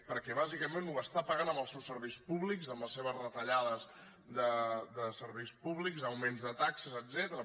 perquè bàsicament ho està pagant amb els seus serveis públics amb les seves retallades de serveis públics d’augments de taxes etcètera